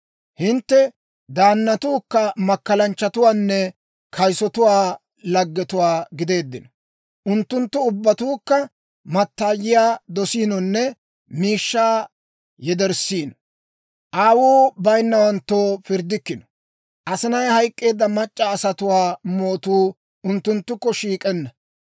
Hintte daannatuu makkalanchchatuwaanne kayisotuwaa lagetuwaa gideeddino; unttunttu ubbatuukka mattaayiyaa dosiinonne miishshaa yederssiino; aawuu bayinnawanttoo pirddikkino; asinay hayk'k'eedda mac'c'a asatuwaa mootuu unttunttukko shiik'enna.